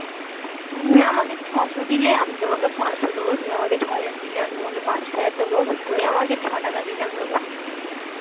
তুমি আমাকে ছসো দিলে আমি তোমাকে পাঁচশো তুমি আমাকে ছহাজার দিলে আমি তোমাকে পাঁচ হাজার দেব তুমি আমাকে ছটাকা দিলে আমি তোমাকে পাঁচ টাকা দেব